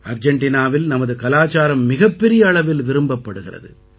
அர்ஜெண்டினாவில் நமது கலாச்சாரம் மிகப் பெரிய அளவில் விரும்பப்படுகிறது